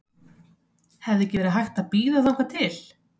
Hefði ekki verið hægt að bíða þangað til?